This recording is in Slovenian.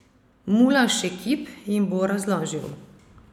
Mula Šekib jim bo razložil.